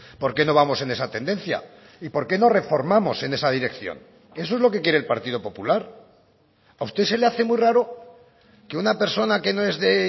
por qué no vamos en esa tendencia y por qué no reformamos en esa dirección eso es lo que quiere el partido popular a usted se le hace muy raro que una persona que no es de